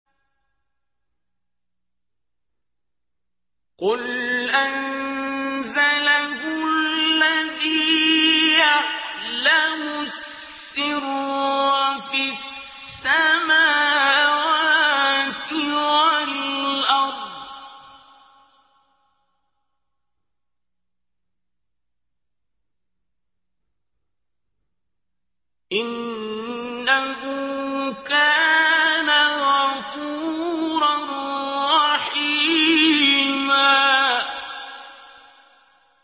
قُلْ أَنزَلَهُ الَّذِي يَعْلَمُ السِّرَّ فِي السَّمَاوَاتِ وَالْأَرْضِ ۚ إِنَّهُ كَانَ غَفُورًا رَّحِيمًا